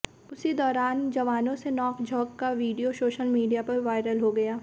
उसी दौरान जवानों से नौक झोक का वीडियो सोशल मीडिया पर वायरल हो गया